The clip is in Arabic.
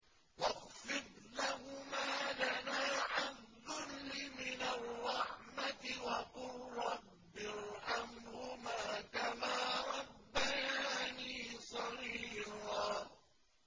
وَاخْفِضْ لَهُمَا جَنَاحَ الذُّلِّ مِنَ الرَّحْمَةِ وَقُل رَّبِّ ارْحَمْهُمَا كَمَا رَبَّيَانِي صَغِيرًا